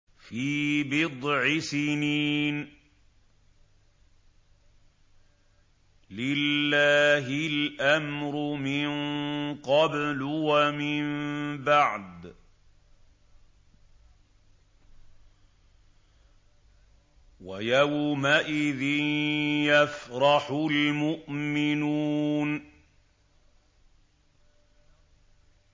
فِي بِضْعِ سِنِينَ ۗ لِلَّهِ الْأَمْرُ مِن قَبْلُ وَمِن بَعْدُ ۚ وَيَوْمَئِذٍ يَفْرَحُ الْمُؤْمِنُونَ